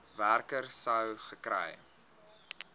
werker sou gekry